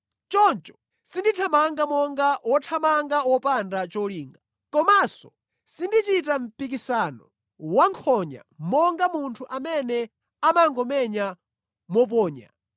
Choncho sindithamanga monga wothamanga wopanda cholinga; komanso sindichita mpikisano wankhonya monga munthu amene amangomenya mophonya.